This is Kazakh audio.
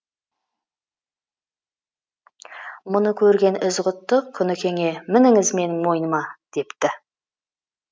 мұны көрген ізғұтты құнекеңе мініңіз менің мойныма депті